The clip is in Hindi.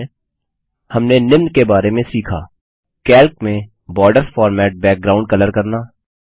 संक्षेप में हमने निम्न बारे में सीखा कैल्क में बॉर्डर्स फॉर्मेट बैकग्राउंड कलर करना